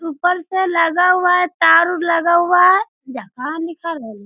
ऊपर से लगा हुआ है तार उर लगा हुआ है। जहाँ निकलेल --